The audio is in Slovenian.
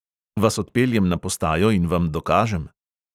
"Vas odpeljem na postajo in vam dokažem?"